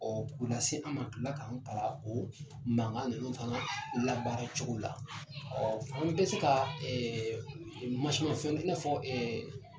Ɔ k'o lase an ma ka tila ka an kalan ko mankan ninnu fana labaaracogo la ɔ an bɛ se ka mansinmafɛn tɛna fɔ ɛ